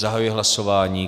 Zahajuji hlasování.